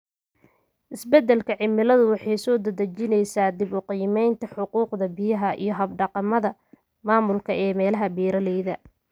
Isbeddelka cimiladu waxay soo dedejinaysaa dib-u-qiimaynta xuquuqda biyaha iyo hab-dhaqannada maamulka ee meelaha beeralayda.